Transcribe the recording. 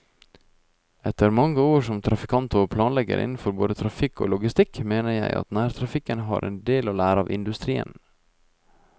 Etter mange år som trafikant og planlegger innenfor både trafikk og logistikk mener jeg at nærtrafikken har en del å lære av industrien.